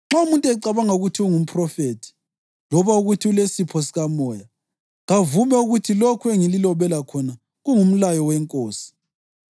Nxa umuntu ecabanga ukuthi ungumphrofethi loba ukuthi ulesipho sikaMoya, kavume ukuthi lokhu engililobela khona kungumlayo weNkosi.